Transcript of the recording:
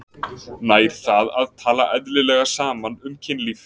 Nær það að tala eðlilega saman um kynlíf?